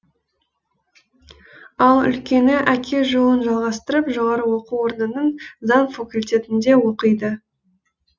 ал үлкені әке жолын жалғастырып жоғары оқу орнының заң факультетінде оқиды